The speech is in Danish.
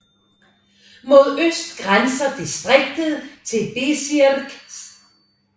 Mod øst grænser distriktet til Bezirk St